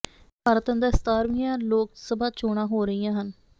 ਭਾਰਤ ਅੰਦਰ ਸਤਾਰਵੀਆਂ ਲੋਕ ਸਭਾ ਚੋਣਾਂ ਹੋ ਰਹੀਆਂ ਹਨ